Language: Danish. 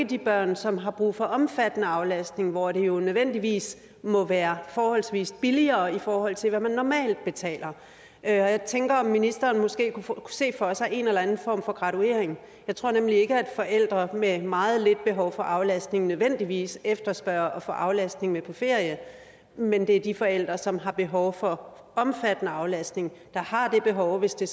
de børn som har brug for omfattende aflastning hvor det jo nødvendigvis må være forholdsvis billigere i forhold til hvad man normalt betaler jeg tænker om ministeren måske kunne se for sig en eller anden form for graduering jeg tror nemlig ikke at forældre med meget lidt behov for aflastning nødvendigvis efterspørger at få aflastning med på ferie men det er de forældre som har behov for omfattende aflastning der har det behov hvis det